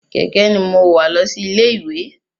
Kẹ̀kẹ́ ní mo wa lọ sí ilé ìwé.